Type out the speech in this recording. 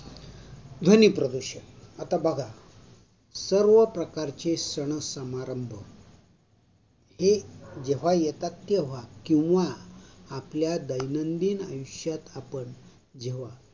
ध्वनि प्रदूषण आता बाघा, सर्वप्रकारची सणसमारंभ हे जेव्हा येतात तेव्हा किंवा आपल्या दैनंदिन जीवनात आपण जेव्हा